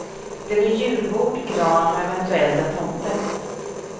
Det blir julbord, gran och eventuellt en tomte.